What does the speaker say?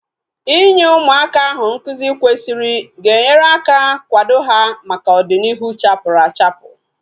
Inye ụmụaka ahu nkụzi kwesịrị ga enyere aka kwado ha maka ọdịnihu chapuru achapu